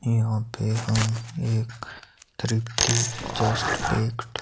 यहां पे हम एक तृप्ति जस्ट --